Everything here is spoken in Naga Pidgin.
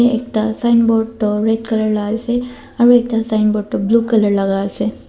ekta signboard toh red colour laga asae aro ekta signboard toh blue colour laga asae.